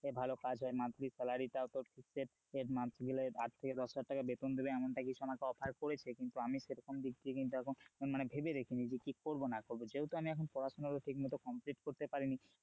ভালো কাজ হয় monthly salary টাও তোর fixed মাস গেলে আট থেকে দশ হাজার টাকা বেতন দিবে এমনটা কিছু আমাকে offer করেছে কিন্তু আমি সেরকম দিক দিয়ে কিন্তু এখন মানে ভেবে দেখিনি যে কি করবো না করব যেহেতু আমি এখন পড়াশোনা ঠিক মতো complete করতে পারিনি,